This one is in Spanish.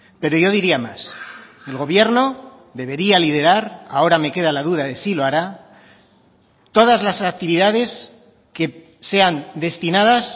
pero yo diría más el gobierno debería liderar ahora me queda la duda de si lo hará todas las actividades que sean destinadas